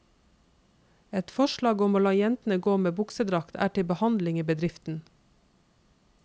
Et forslag om å la jentene å gå med buksedrakt, er til behandling i bedriften.